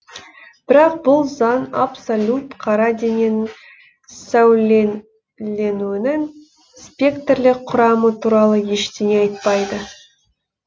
бірақ бұл заң абсолют қара дененің сәулеленуінің спектрлік құрамы туралы ештеңе айтпайды